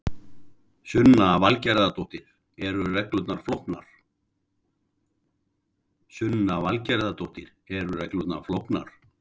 Sunna Valgerðardóttir: Eru reglurnar flóknar?